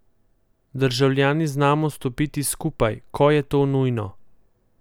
Državljani znamo stopiti skupaj, ko je to nujno.